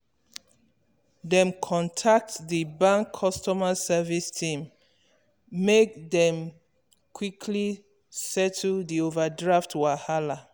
dem contact di bank customer service team make make dem quickly settle di overdraft wahala.